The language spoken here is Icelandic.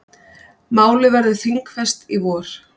Málið verður þingfest í vor.